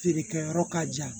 Feere kɛyɔrɔ ka jan